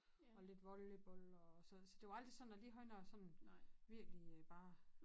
Og lidt volleyball og så så det var aldrig sådan at lige henne og sådan virkelig bare